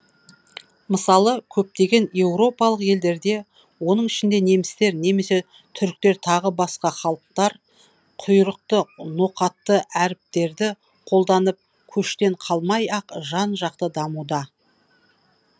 мысалы көптеген еуропалық елдерде оның ішінде немістер немесе түріктер тағы басқа халықтар құйрықты ноқатты әріптерді қолданып көштен қалмай ақ жан жақты дамуда